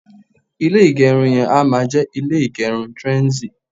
ilé igerun yen a máa je ile igerun trendzy